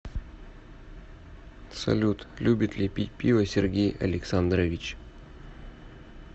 салют любит ли пить пиво сергей александрович